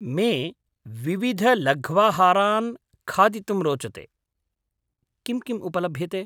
मे विविधलघ्वाहारान् खादितुं रोचते, किं किम् उपलभ्यते?